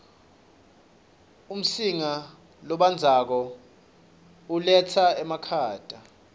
umsinga lobandzako uletsa emakhata